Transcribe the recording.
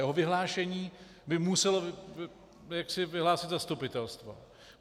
Jeho vyhlášení by muselo vyhlásit zastupitelstvo.